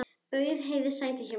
Bauð Heiðu sæti hjá mér.